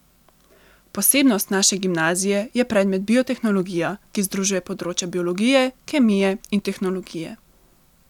Posebnost naše gimnazije je predmet biotehnologija, ki združuje področja biologije, kemije in tehnologije.